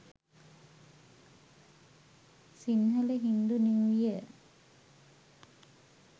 sinhala hindu new year